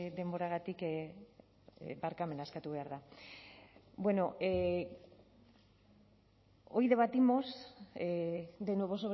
denboragatik barkamena eskatu behar da bueno hoy debatimos de nuevo